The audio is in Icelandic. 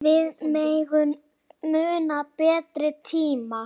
Við megum muna betri tíma.